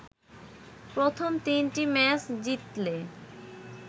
প্রথম তিনটি ম্যাচ জিতলে